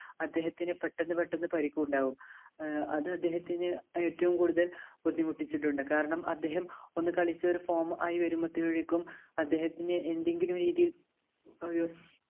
അദ്ദേഹത്തിന് പെട്ടെന്ന് പെട്ടെന്ന് പരിക്ക് ഉണ്ടാവും ഏർ അത് അദ്ദേഹത്തിന് ഏറ്റവും കൂടുതൽ ബുദ്ധിമുട്ടിച്ചിട്ടുണ്ട് കാരണം അദ്ദേഹം ഒന്ന് കളിച്ച ഒരു form ആയി വരുമ്പോഴേക്കും അദ്ദേഹത്തിന് എന്തെങ്കിലും രീതിയിൽ ഒരു